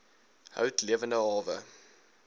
hout lewende hawe